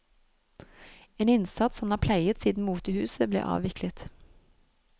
En innsats han har pleiet siden motehuset ble avviklet.